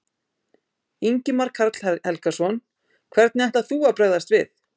Ingimar Karl Helgason: Hvernig ætlar þú að bregðast við?